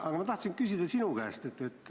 Aga ma tahan küsida sinu käest seda.